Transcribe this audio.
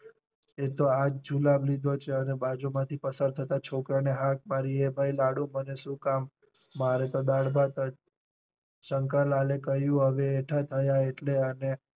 તે તો આજ જુલાબ લીધો છે અને બાજુમાંથી પસાર થતાં છોકરા ને હાથ મારી એ ભાઈ લાડુ મને શું કામ મારે તો દાળ ભાત જ. શંકર લાલે કહ્યું હવે એઠા થયા એટલે